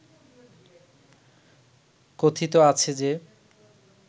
কথিত আছে যে